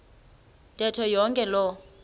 ntetho yonke loo